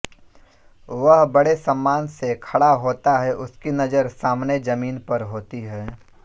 वह बड़े सम्मान से खड़ा होता है उसकी नज़र सामने ज़मीन पर होती हैं